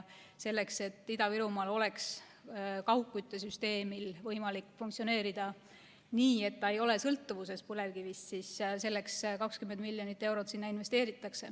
Selleks, et Ida-Virumaal oleks kaugküttesüsteemil võimalik funktsioneerida nii, et ta ei oleks sõltuvuses põlevkivist, investeeritakse sinna 20 miljonit eurot.